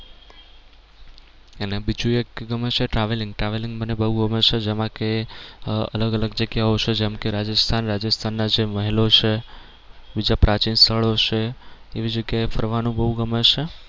અને બીજું એક ગમે છે travelling travelling મને બહુ ગમે છે જેમાં કે આહ અલગ અલગ જગ્યા ઓ છે જેમ કે રાજસ્થાન રાજસ્થાન ના જે મહેલો છે બીજા પ્રાચીન સ્થળો છે એવી જગ્યા એ ફરવાનું બહુ ગમે છે.